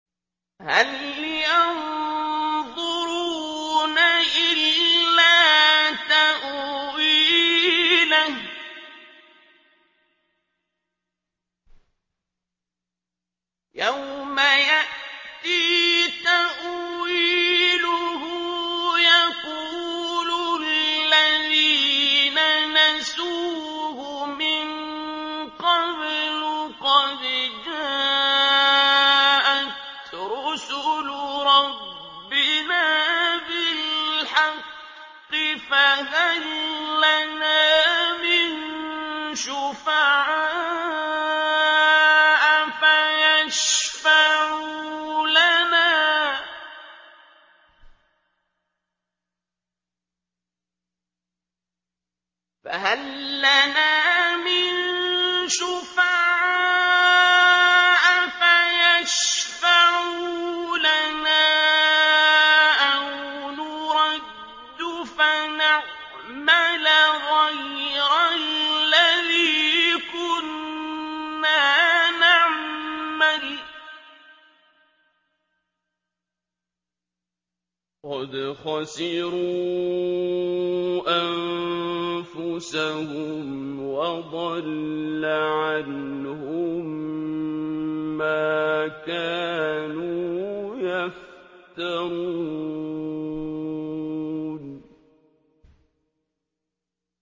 هَلْ يَنظُرُونَ إِلَّا تَأْوِيلَهُ ۚ يَوْمَ يَأْتِي تَأْوِيلُهُ يَقُولُ الَّذِينَ نَسُوهُ مِن قَبْلُ قَدْ جَاءَتْ رُسُلُ رَبِّنَا بِالْحَقِّ فَهَل لَّنَا مِن شُفَعَاءَ فَيَشْفَعُوا لَنَا أَوْ نُرَدُّ فَنَعْمَلَ غَيْرَ الَّذِي كُنَّا نَعْمَلُ ۚ قَدْ خَسِرُوا أَنفُسَهُمْ وَضَلَّ عَنْهُم مَّا كَانُوا يَفْتَرُونَ